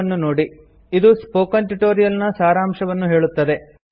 httpspoken tutorialorgWhat is a Spoken Tutorial ಇದು spoken tutorial ನ ಸಾರಾಂಶವನ್ನು ಹೇಳುತ್ತದೆ